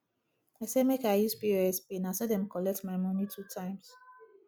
i say make i use pos pay na so dem collect my moni two times